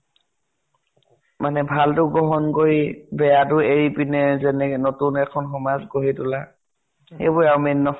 মানে ভালটো গ্ৰহন কৰি, বেয়াটো এৰি পিনে যেনেকে নতুন এখন সমাজ গঢ়ি তোলা। এইবোৰে আৰু main ন?